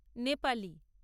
Nepali